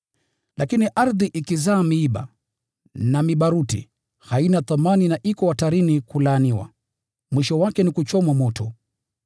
Lakini ardhi ikizaa miiba na mibaruti, haina thamani na iko hatarini ya kulaaniwa. Mwisho wake ni kuchomwa moto.